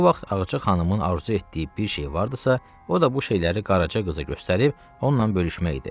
Bu vaxt Ağca xanımın arzu etdiyi bir şey vardısa, o da bu şeyləri Qaraca qıza göstərib onunla bölüşmək idi.